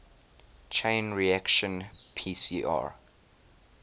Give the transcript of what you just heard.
chain reaction pcr